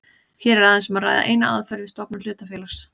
Hér er aðeins um að ræða eina aðferð við stofnun hlutafélags.